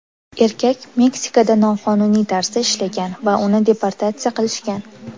Erkak Meksikada noqonuniy tarzda ishlagan, va uni deportatsiya qilishgan.